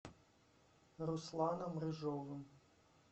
русланом рыжовым